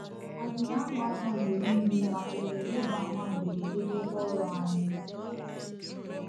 Ànyị a na-amụ anya mgbe niile maka ohere ịgba àmà mberede n’ebe ọrụ anyị??